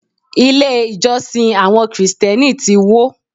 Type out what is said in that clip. Ilé ìjọsìn àwọn Kristẹni ti wó.